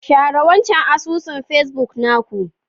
Share wancan asusun pacebook na ku.